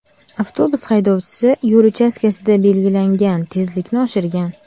Avtobus haydovchisi yo‘l uchastkasida belgilangan tezlikni oshirgan.